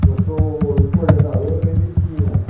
Se eu sou coordenador, eu ganho mil e quinhentos.